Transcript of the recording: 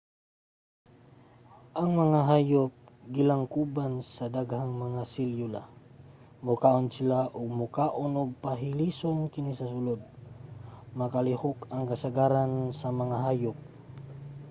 ang mga hayop gilangkuban sa daghang mga selyula. mukaon sila og makaon ug pahilison kini sa sulod. makalihok ang kasagaran sa mga hayop